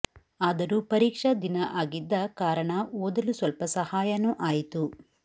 ಆದರೂ ಪರೀಕ್ಷಾ ದಿನ ಆಗಿದ್ದ ಕಾರಣ ಓದಲು ಸ್ವಲ್ಪ ಸಹಾಯನು ಆಯಿತು